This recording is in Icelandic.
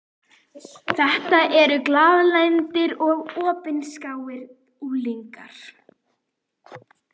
Þetta eru glaðlyndir og opinskáir unglingar.